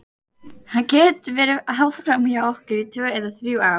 Hann getur verið áfram hjá okkur í tvö eða þrjú ár.